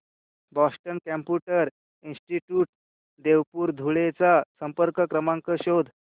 Boston computer institute Deopur Dhule चा संपर्क क्रमांक शोध